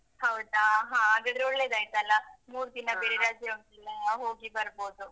ಹೌದಾ, ಹಾಗಾದ್ರೆ ಒಳ್ಳೇದಾಯ್ತಲ್ಲ ಮೂರು ದಿನ ಬೇರೆ ರಜೆ ಉಂಟಲ್ಲ ಹೋಗಿ ಬರ್ಬೋದು.